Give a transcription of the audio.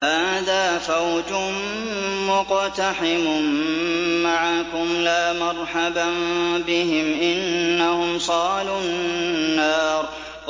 هَٰذَا فَوْجٌ مُّقْتَحِمٌ مَّعَكُمْ ۖ لَا مَرْحَبًا بِهِمْ ۚ إِنَّهُمْ صَالُو النَّارِ